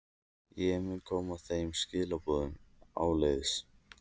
Ég mun koma þeim skilaboðum áleiðis.